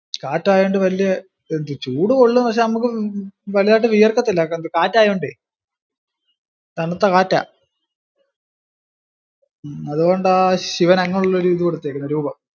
കാറ്റായൊണ്ട് വലിയ, ചൂട് കൊള്ളും. പക്ഷെ നമുക്ക് വലുതായിട്ടു വിയർക്കത്തില്ല. കാറ്റ് അയൊണ്ടേ, തണുത്ത കാറ്റാ, അത് കൊണ്ടാ ശിവന് അങ്ങിനെ ഉള്ളോരിതു കൊടുത്തിരിക്കുന്നെ രുപം.